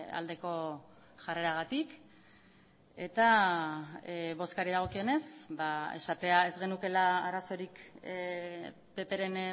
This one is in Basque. aldeko jarreragatik eta bozkari dagokionez esatea ez genukeela arazorik ppren